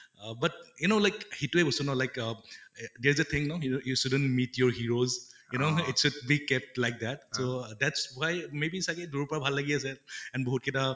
আহ but you know like হিটোয়ে বস্তু ন like uh there is a thing ন, you shouldn't meet your heroes, you know it is a big cat like that so that's why may be চাগে দূৰৰ পৰা ভাল লাগি আছে and বিহুত কেইটা